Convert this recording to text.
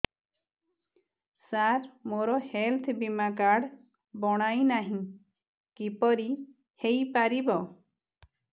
ସାର ମୋର ହେଲ୍ଥ ବୀମା କାର୍ଡ ବଣାଇନାହିଁ କିପରି ହୈ ପାରିବ